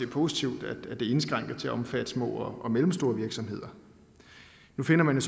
positivt at det er indskrænket til at omfatte små og mellemstore virksomheder nu finder man